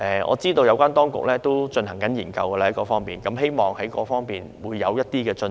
我知道有關當局已就這方面進行研究，希望會有一些進展。